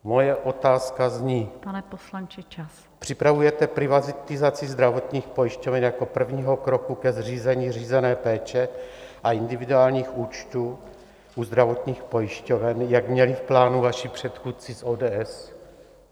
Moje otázka zní: Připravujete privatizaci zdravotních pojišťoven jako prvního kroku ke zřízení řízené péče a individuálních účtů u zdravotních pojišťoven, jak měli v plánu vaši předchůdci z ODS?